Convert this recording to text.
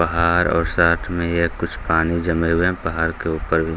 पहाड़ और साथ में ये कुछ पानी जमे हुए हैं पहाड़ के उपर भी --